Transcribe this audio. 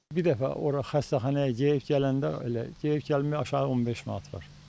Bir dəfə ora xəstəxanaya gedib gələndə elə gedib gəlməyə aşağı 15 manat var.